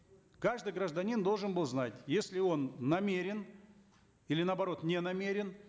каждый гражданин должен был знать если он намерен или наоборот не намерен